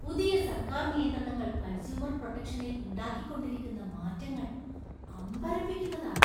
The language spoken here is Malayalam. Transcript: പുതിയ സര്‍ക്കാര്‍ നിയന്ത്രണങ്ങൾ കണ്‍സ്യൂമര്‍ പ്രൊട്ടെക്ഷനില്‍ ഉണ്ടാക്കിക്കൊണ്ടിരിക്കുന്ന മാറ്റങ്ങള്‍ അമ്പരപ്പിക്കുന്നതാണ്.